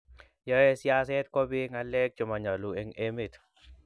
yoe siaset kobiiy ngalek chemanyalu eng emet